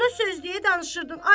Ona söz deyə danışırdın.